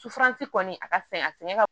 Sufan ci kɔni a ka fin a sɛgɛn ka